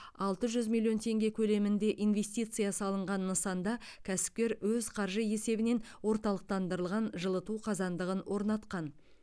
алты жүз миллион теңге көлемінде инвестиция салынған нысанда кәсіпкер өз қаржы есебінен орталықтандырылған жылыту қазандығын орнатқан